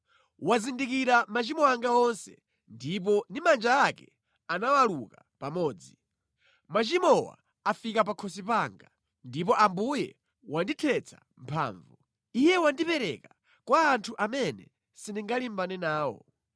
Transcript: “Wazindikira machimo anga onse ndipo ndi manja ake anawaluka pamodzi. Machimowa afika pakhosi panga, ndipo Ambuye wandithetsa mphamvu. Iye wandipereka kwa anthu amene sindingalimbane nawo.